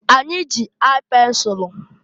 Anyị ji aị pensulu.